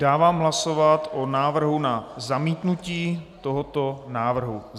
Dávám hlasovat o návrhu na zamítnutí tohoto návrhu.